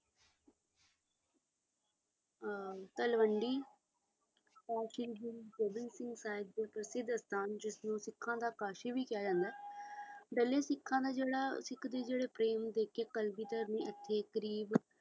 ਤਲਵੰਡੀ ਤੋਂ ਸ੍ਰੀ ਗੁਰੂ ਗੋਬਿੰਦ ਸਿੰਘ ਸਾਹਿਬ ਜਿਨ੍ਹਾਂ ਸਿੱਖਾਂ ਦਾ ਕਾਜ਼ੀ ਇਹ ਵੀ ਕਿਹਾ ਜਾਂਦਾ ਹੈ ਬਲੇ ਜਿਹੜਾ ਸਿੱਖਾਂ ਦਾ ਪ੍ਰੇਮ ਵੇਖ ਕੇ ਹੇ ਕਲਗੀਧਰ ਨੇ ਇਥੇ ਇਕ ਗਰੀਬ